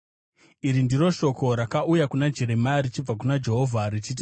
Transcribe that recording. Iri ndiro shoko rakauya kuna Jeremia richibva kuna Jehovha richiti,